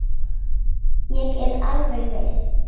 Ég er alveg viss.